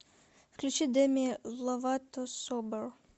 включи дэми ловато собер